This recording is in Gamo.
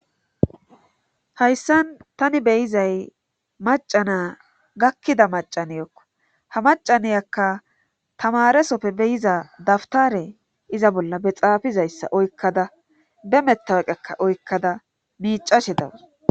Hayssan tani beyizay macana gakkida macaniyokka ha macaniyakka tamaresoppe beyiza dabtare iza bolla be xaafizayssa oykkada be mettaweqekka oykkada miicashe dawus.